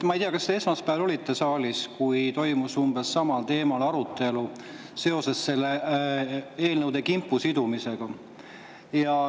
Ma ei tea, kas te esmaspäeval olite saalis, kui toimus umbes samal teemal arutelu seoses selle eelnõude kimpu sidumisega.